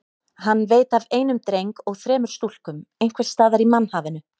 Hann veit af einum dreng og þremur stúlkum einhvers staðar í mannhafinu.